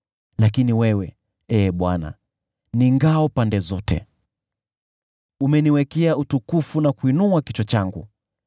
Lakini wewe, Ee Bwana , ni ngao pande zote; umeniwekea utukufu na kuinua kichwa changu.